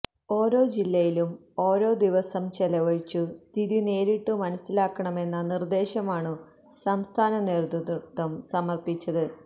ഓരോ ജില്ലയിലും ഓരോ ദിവസം ചെലവഴിച്ചു സ്ഥിതി നേരിട്ടു മനസ്സിലാക്കണമെന്ന നിർദേശമാണു സംസ്ഥാന നേതൃത്വം സമർപ്പിച്ചത്